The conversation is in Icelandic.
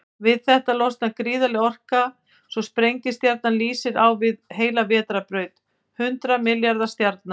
Við þetta losnar gríðarleg orka, svo sprengistjarnan lýsir á við heila vetrarbraut hundrað milljarða stjarna.